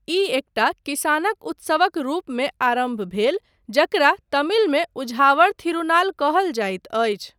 ई एकटा किसानक उत्सवक रूपमे आरम्भ भेल, जकरा तमिलमे उझावर थिरुनाल कहल जाइत अछि।